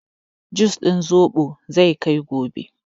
Jus din zobon zai kai gobe.